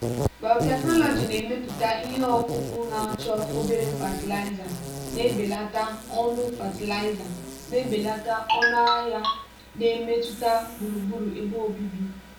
biotechnology na-emepụta ihe ọkụkụ na-achọ obere fatịlaịza na-ebelata ọnụ fatịlaịza na-ebelata ọnụ ahịa na mmetụta gburugburu ebe obibi.